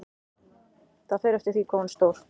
Það fer eftir því hvað hún er stór.